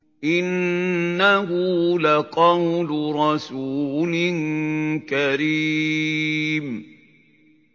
إِنَّهُ لَقَوْلُ رَسُولٍ كَرِيمٍ